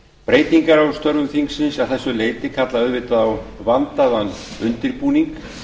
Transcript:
breytingar á störfum þingsins að þessu leyti kalla auðvitað á vandaðan undirbúning